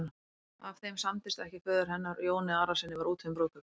Ef þeim samdist ekki föður hennar og Jóni Arasyni var úti um brúðkaupið.